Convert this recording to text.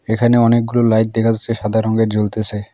এখানে অনেকগুলো লাইট দেখা যাচ্ছে সাদা রঙ্গের জ্বলতেসে।